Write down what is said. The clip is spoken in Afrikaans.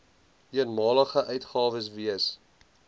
eenmalige uitgawes wees